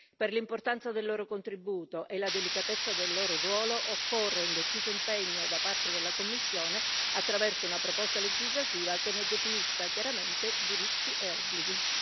Per l'importanza del loro contributo e la delicatezza del loro ruolo, occorre un deciso impegno da parte della Commissione attraverso una proposta legislativa che ne definisca chiaramente diritti e obblighi.